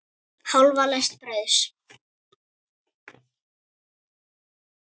Hálfa lest brauðs.